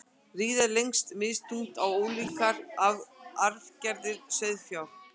riða leggst misþungt á ólíkar arfgerðir sauðfjár